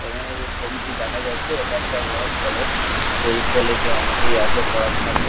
এখানে যে ছবিটি দেখা যাচ্ছে এটা একটা বড়ো কলেজ এই কলেজ -এ অনেকেই আসে পড়াশুনা কর--